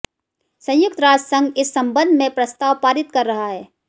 संयुक्त राष्ट्र संघ इस संबन्ध में प्रस्ताव पारित कर रहा है